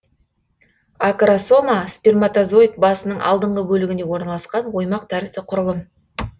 акросома сперматозоид басының алдыңғы бөлігінде орналасқан оймақ тәрізді құрылым